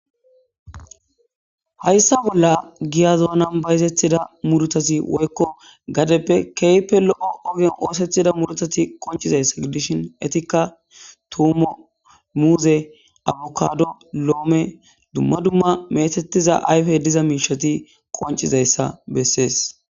Hayssa bolla giya zoonan bayzethida mudutasi woykko gadeppe keype lo'o ogen oosethida mudutati qonchizayssa gidishin etikka tuumo muuze abukado loome dumma dumma meetetiza ayfe diza miishati qoncizayssa bessees